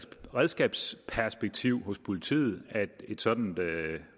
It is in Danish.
redskabsperspektiv hos politiet oplagt at et sådant